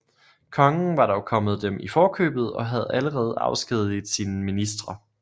Kongen var dog kommet dem i forkøbet og havde allerede afskediget sine ministre